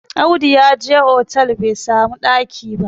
Audu ya je otal bai samu ɗaki ba